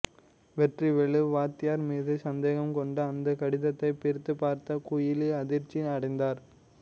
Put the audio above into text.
வெற்றிவேலு வாத்தியார் மீது சந்தேகம் கொண்டு அந்த கடிதத்தை பிரித்துப்பார்த்த குயிலி அதிர்ச்சி அடைந்தார்